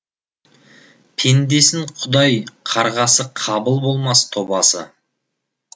пендесін құдай қарғаса қабыл болмас тобасы